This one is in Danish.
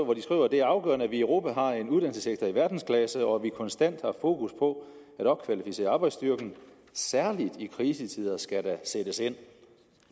hvor de skriver det er afgørende at vi i europa har en uddannelsessektor i verdensklasse og at vi konstant har fokus på at opkvalificere arbejdsstyrken særlig i krisetider skal der sættes ind